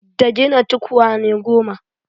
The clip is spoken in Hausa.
Da gina tukwane goma.